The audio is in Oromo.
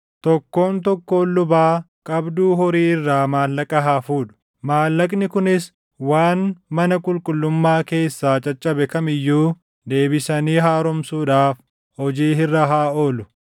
Tokkoon tokkoon lubaa qabduu horii irraa maallaqa haa fuudhu; maallaqni kunis waan mana qulqullummaa keessaa caccabe kam iyyuu deebisanii haaromsuudhaaf hojii irra haa oolu.”